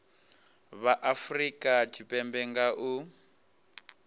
vha afurika tshipembe nga u